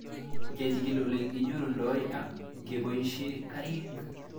Kechig'il ole kinyorundoi ak kepoishe karik